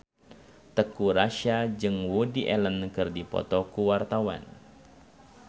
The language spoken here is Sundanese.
Teuku Rassya jeung Woody Allen keur dipoto ku wartawan